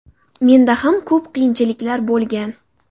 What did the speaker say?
Menda ham ko‘p qiyinchiliklar bo‘lgan.